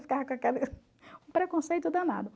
Ficava com aquele preconceito danado.